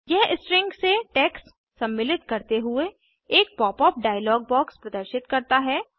यह स्ट्रिंग से टेक्स्ट सम्मिलित करते हुए एक पॉप अप डायलॉग बॉक्स प्रदर्शित करता है